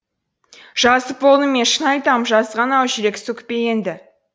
жазып болдым мен шын айтам жазған ау жүрек сөкпе енді